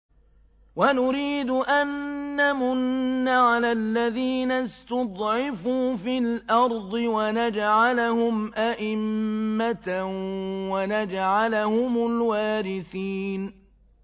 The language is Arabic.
وَنُرِيدُ أَن نَّمُنَّ عَلَى الَّذِينَ اسْتُضْعِفُوا فِي الْأَرْضِ وَنَجْعَلَهُمْ أَئِمَّةً وَنَجْعَلَهُمُ الْوَارِثِينَ